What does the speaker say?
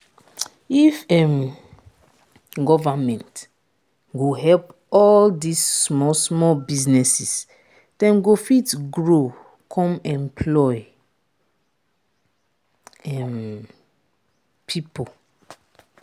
if um government go help all dis small small businesses dem go fit grow come employ um people.